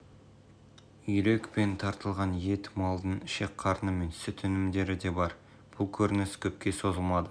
үйрек пен тартылған ет малдың ішек-қарны мен сүт өнімдері де бар бұл көрініс көпке созылмады